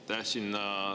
Aitäh!